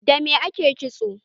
Dame ake kitso a da?